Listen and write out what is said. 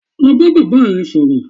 Lọ bá bàbá rẹ sọ̀rọ̀!